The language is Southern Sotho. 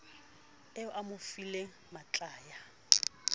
eo a mo fileng matlaya